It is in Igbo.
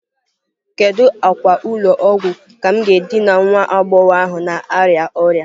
Kedu akwa ụlọ ọgwụ ka m ga-edina nwa agbọghọ ahụ na-arịa ọrịa?